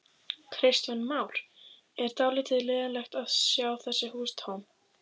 Kristján Már: Er dálítið leiðinlegt að sjá þessi hús tóm?